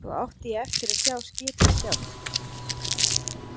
Svo átti ég eftir að sjá skipið sjálft.